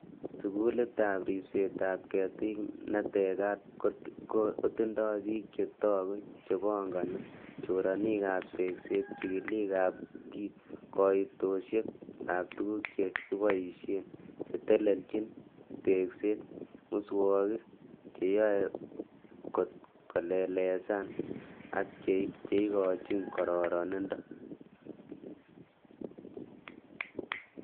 Sugulitab ribsetab ketik netekat kotindoi bik che toogu chepongoni, choronikab tesket, chigilik ab koitosiek ab tuguk che kiboishen, chetelechin tekset, muswoogik, che yoe got kolelesan ak cheikochin kororonindo.